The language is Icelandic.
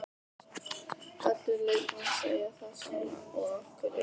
Allir leikmenn segja það sama og af hverju er það?